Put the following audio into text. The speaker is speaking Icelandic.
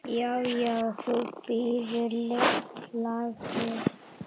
Já, já. þú bíður, lagsi!